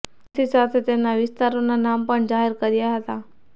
તેની સાથે તેમના વિસ્તારોના નામ પણ જાહેર કર્યા હતા